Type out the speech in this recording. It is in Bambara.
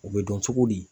O bɛ dɔn cogo di